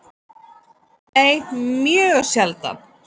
Nei, mjög sjaldan.